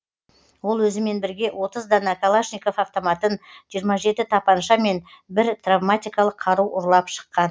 ол өзімен бірге отыз дана калашников автоматын жиырма жеті тапанша мен бір травматикалық қару ұрлап шыққан